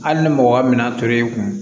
Hali ni mɔgɔ mina tor'i kun